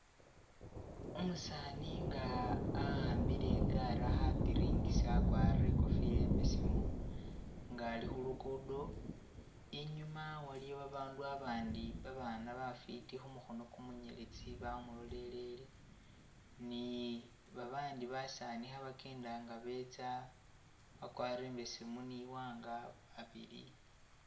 Umusani nga a'ambile igaari akha piringisa akwarire ikofila imbesemu nga ali khulukudo inyuma waliyo babandu abandi babana bafiti khumukhono kumunyeletsi bamulolelele ni babandi basaani khabakyenda nga betsa bakwarire imbesemu niwanga babili